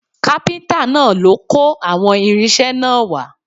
Kápíntà náà ló kó àwọn irinṣẹ́ náà wá